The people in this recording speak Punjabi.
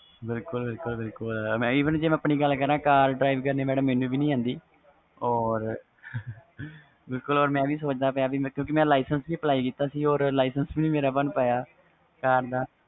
ਬਿਲਕੁਲ ਬਿਲਕੁਲ ਜੇ ਮੈਂ ਆਪਣੀ ਗਏ ਕਰ ਮੈਨੂੰ ਵੀ car ਚਲਨੀ ਨਹੀਂ ਆਂਦੀ ਮੈਂ ਵੀ ਸੋਚ ਦਾ ਪਿਆ ਵ ਕਿਉਕਿ ਮੈਂ ਵੀ license apply ਕੀਤਾ ਸੀ ਵੀ ਨਹੀਂ ਮੇਰਾ license ਬਣ ਨਹੀਂ ਪਾਇਆ